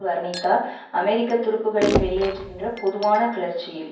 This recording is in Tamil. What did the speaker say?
வர்ணித்தார் அமெரிக்க துருப்புக்களை வெளியேற்றுகின்ற பொதுவான கிளர்ச்சியில்